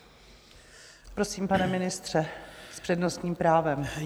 Prosím, pane ministře, s přednostním právem.